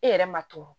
E yɛrɛ ma to